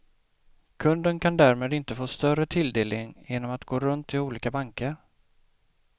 Kunden kan därmed inte få större tilldelning genom att gå runt till olika banker.